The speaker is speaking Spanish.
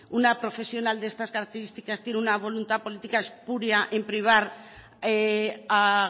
una profesional de estas características tiene una voluntad política espuria en privar a